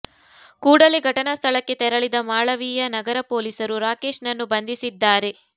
ಕೂಡಲೇ ಘಟನಾ ಸ್ಥಳಕ್ಕೆ ತೆರಳಿದ ಮಾಳವಿಯಾ ನಗರ ಪೊಲೀಸರು ರಾಕೇಶ್ ನನ್ನು ಬಂಧಿಸಿದ್ದಾರೆ